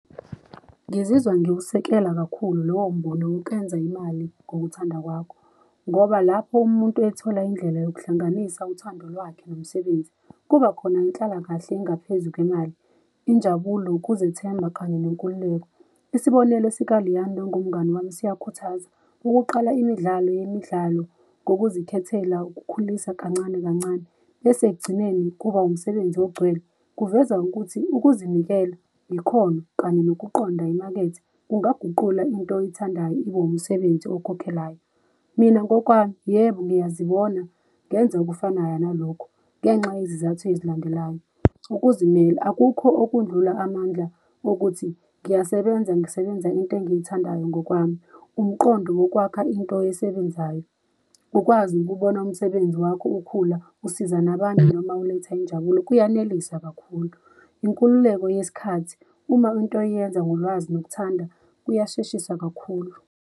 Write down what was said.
Ngizizwa ngiwusekela kakhulu lowombono wokwenza imali ngokuthanda kwakho, ngoba lapho umuntu ethola indlela yokuhlanganisa uthando lwakhe nomsebenzi, kubakhona inhlalakahle engaphezu kwemali, injabulo, ukuzethemba kanye nenkululeko. Isibonelo sika-Liyanda ongumngani wami, siyakhuthaza. Ukuqala imidlalo yemidlalo ngokuzikhethela ukukhulisa kancane kancane bese ekugcineni kuba umsebenzi ogcwele, kuveza ukuthi ukuzinikela, ikhono, kanye nokuqonda imakethe, kungagula into oyithandayo ibe umsebenzi okhokhelayo. Mina ngokwami yebo, ngiyazibona ngenza okufanayo nalokho, ngenxa yezizathu ezilandelayo. Ukuzimela, akukho okudlula amandla okuthi ngiyasebenza, ngisebenza into engiyithandayo ngokwami, umqondo wokwakha into oyisebenzayo, ukwazi ukubona umsebenzi wakho ukhula, usiza nabanye noma uletha injabulo, kuyaneliseka kakhulu, inkululeko yesikhathi. Uma into uyenza ngolwazi nokuthanda kuyasheshisa kakhulu.